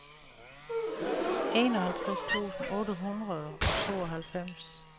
enoghalvtreds tusind otte hundrede og tooghalvfems